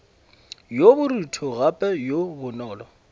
yo borutho gape yo bonolo